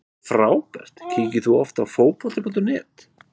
Frábært Kíkir þú oft á Fótbolti.net?